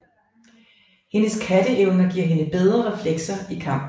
Hendes katteevner giver hende bedre reflekser i kamp